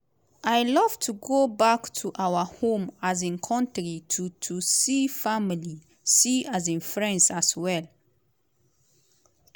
"i love to go back to our home um kontri to to see family see um friends as well.